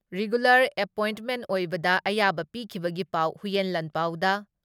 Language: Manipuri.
ꯔꯤꯒꯨꯂꯔ ꯑꯦꯄꯣꯏꯟꯠꯃꯦꯟ ꯑꯣꯏꯕꯗ ꯑꯌꯥꯕ ꯄꯤꯈꯤꯕꯒꯤ ꯄꯥꯎ ꯍꯨꯏꯌꯦꯟ ꯂꯥꯟꯄꯥꯎꯗ